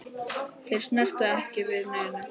Þeir snertu ekki við neinu.